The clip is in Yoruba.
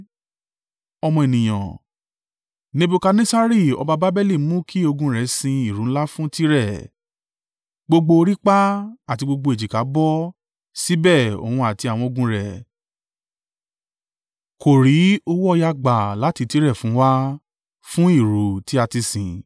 “Ọmọ ènìyàn, Nebukadnessari ọba Babeli mú kí ogun rẹ sin ìrú ńlá fún Tire. Gbogbo orí pá, àti gbogbo èjìká bó, síbẹ̀, òun àti àwọn ogun rẹ̀, kò rí owó ọ̀yà gbà láti Tire fún wa, fún ìrú ti a ti sìn.